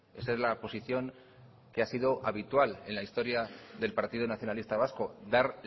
esa es la posición que ha sido habitual en la historia del partido nacionalista vasco dar